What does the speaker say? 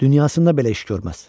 Dünyasında belə iş görməz.